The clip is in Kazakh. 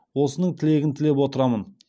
осының тілегін тілеп отырамын